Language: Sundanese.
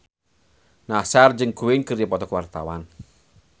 Nassar jeung Queen keur dipoto ku wartawan